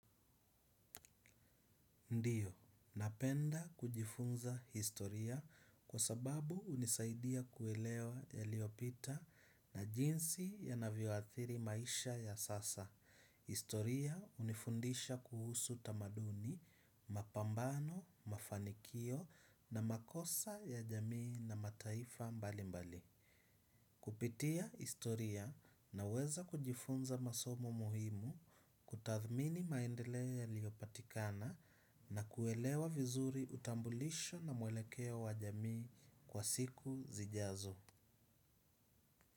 Ndiyo, napenda kujifunza historia kwa sababu hunisaidia kuelewa yaliyopita na jinsi yanavyoathiri maisha ya sasa. Historia hunifundisha kuhusu tamaduni, mapambano, mafanikio na makosa ya jamii na mataifa mbali mbali. Kupitia historia naweza kujifunza masomo muhimu kutathmini maendeleo yaliyopatikana na kuelewa vizuri utambulisho na mwelekeo wa jamii kwa siku zijazo.